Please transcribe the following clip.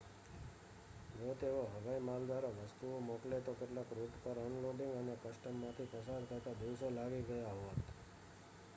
જો તેઓ હવાઈ માલ દ્વારા વસ્તુઓ મોકલે તો કેટલાક રૂટ પર અનલોડિંગ અને કસ્ટમમાંથી પસાર થતાં દિવસો લાગી ગયા હોત